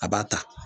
A b'a ta